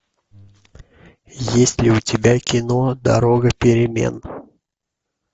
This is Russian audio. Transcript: есть ли у тебя кино дорога перемен